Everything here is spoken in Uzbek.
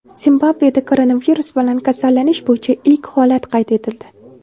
Zimbabveda koronavirus bilan kasallanish bo‘yicha ilk holat qayd etildi.